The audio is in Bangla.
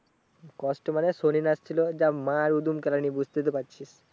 কষ্ট মানে শনি লাগছিলো যা মার উদম কেলানি বুঝতেই তো পারছিস